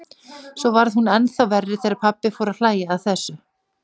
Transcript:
Svo varð hún ennþá verri þegar pabbi fór að hlæja að þessu.